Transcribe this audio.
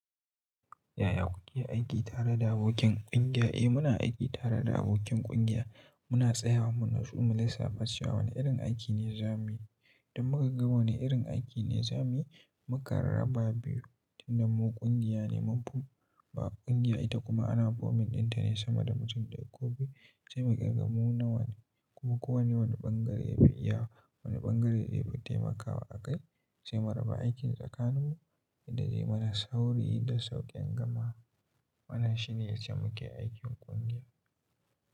Yaya kuke aiki tare da abokin ƙungiya? Eh, muna aiki tare da abokin ƙungiya. Muna tsayawa mu natsu mulissafa, chewa. Wane irin aiki ne zamuyi? Idan mukagga wane irin aiki ne zamuyi? Mu kan raba biyu, tunda mu ƙungiya ne mumfi, ba ƙungiya ita kuma ana forming dinta ne sama da mutum daya ko biyu. Sai mu ƙirga mu nawa ne, kuma kowanne wani ɓangare ya fi iyawa. Wane ɓangare ya fi taimakawa a kai. Sai mu raba aikin tsakaninmu inda zai mana sauri da sauƙin gamawa. Wanann shine yacce muke aikin ƙungiya.